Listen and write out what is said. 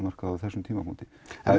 markað á þessum tímapunkti